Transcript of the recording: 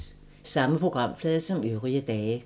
Samme programflade som øvrige dage